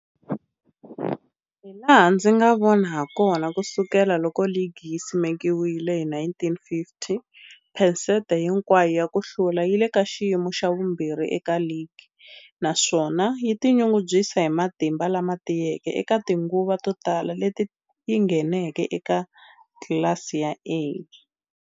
Hilaha ndzi nga vona hakona, ku sukela loko ligi yi simekiwile, hi 1950, phesente hinkwayo ya ku hlula yi le ka xiyimo xa vumbirhi eka ligi, naswona yi tinyungubyisa hi matimba lama tiyeke eka tinguva to tala leti yi ngheneke eka tlilasi ya A.